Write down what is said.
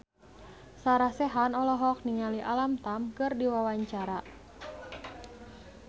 Sarah Sechan olohok ningali Alam Tam keur diwawancara